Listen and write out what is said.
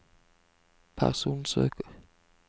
personsøker